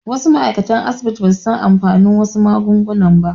Wasu ma'aikatan asibiti basu san amfanin wasu magunguna ba